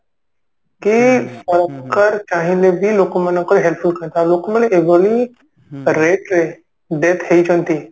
କି ସରକାର ଚାହିଁଲେ ବି ଲୋକମାନଙ୍କର ଲୋକ ମାନେ ଏଭଳି rate ରେ death ହେଇଛନ୍ତି